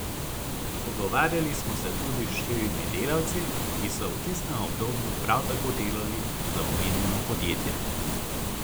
Pogovarjali smo se tudi s štirimi delavci, ki so v tistem obdobju prav tako delali za omenjeno podjetje.